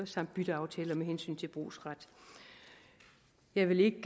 samt bytteaftaler med hensyn til brugsret jeg vil ikke